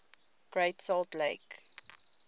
great salt lake